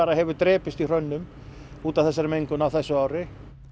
hefur drepist í hrönnum út af þessari mengun á þessu ári